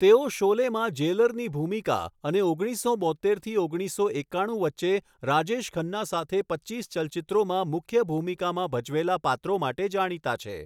તેઓ 'શોલે'માં જેલરની ભૂમિકા અને ઓગણીસસો બોત્તેરથી ઓગણીસો એક્કાણું વચ્ચે રાજેશ ખન્ના સાથે પચ્ચીસ ચલચિત્રોમાં મુખ્ય ભૂમિકામાં ભજવેલા પાત્રો માટે જાણીતા છે.